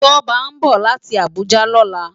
Toba nbó láti Abuja lòlá